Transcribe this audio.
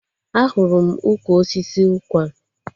Ahụrụ m ukwu osisi ụkwarm